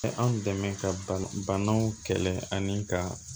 Anw dɛmɛ ka banaw kɛlɛ ani ka